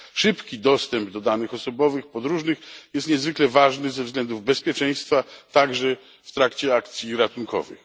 Szybki dostęp do danych osobowych podróżnych jest niezwykle ważny ze względów bezpieczeństwa, także w trakcie akcji ratunkowych.